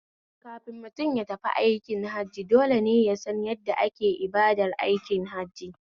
Kafin mutum yatafi aikin Hajji dole ne yasan yadda ake ibadar aikin hajjin